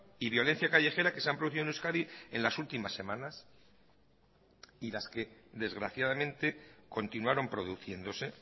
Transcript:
y violencia callejera que se han producido en euskadi en las últimas semanas y las que desgraciadamente continuaron produciéndose